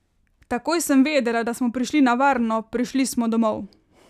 Takoj sem vedela, da smo prišli na varno, prišli smo domov!